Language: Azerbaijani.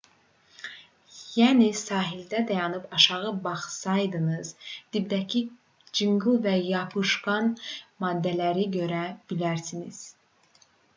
yəni sahildə dayanıb aşağı baxsaydınız dibdəki çınqıl və yapışqan maddələri görə bilərdiniz